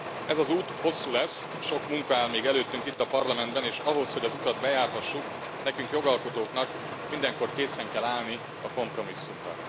Ez az út hosszú lesz, sok munka áll még előttünk itt a Parlamentben, és ahhoz, hogy az utat bejárhassuk, nekünk, jogalkotóknak mindenkor készen kell állnunk a kompromisszumra.